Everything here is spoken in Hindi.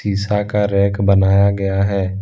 शिशा का रैक बनाया गया है।